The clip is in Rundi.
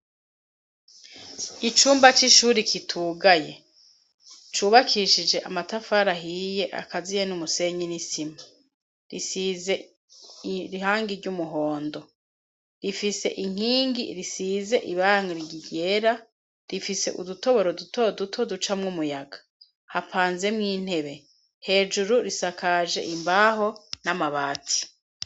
Icumba c'ishuri kitugaye cubakishije amatafari ahiye akaziye n'umusenyi n'isima. Rsize irangi ry'umuhondo, ifise inkingi risize irangi ryera rifise udutoboro duto duto ducamwo umuyaga hapanzemwo intebe hejuru risakaje imbaho n'amabati.